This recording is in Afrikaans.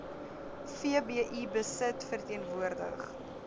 vbi besit verteenwoordig